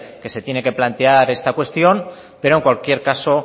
que se tiene que plantear esta cuestión pero en cualquier caso